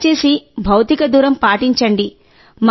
దయచేసి భౌతిక దూరం పాటించండి